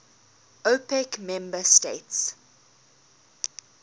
opec member states